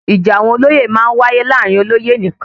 Ìjà àwọn olóyè máa ń wáyé láàrin olóyè nìkan